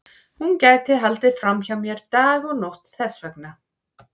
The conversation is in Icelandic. Hún gæti haldið fram hjá mér dag og nótt þess vegna.